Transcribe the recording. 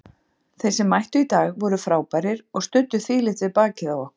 Þeir sem mættu í dag voru frábærir og studdu þvílíkt við bakið á okkur.